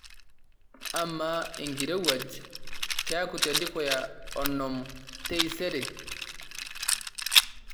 amaa enkirowuaj keeku tedukuya onom taisere